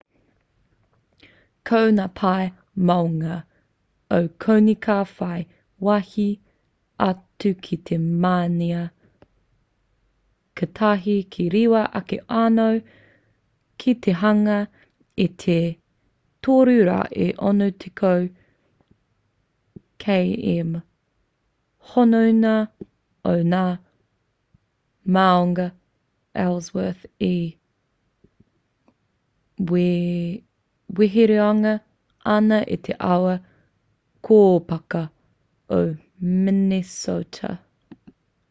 ko ngā pae maunga o konei ka whai wāhi atu ki te mānia katahi ka rewa ake anō ki te hanga i te 360 km hononga o ngā māunga ellsworth e weheruangia ana e te awa kōpaka o minnesota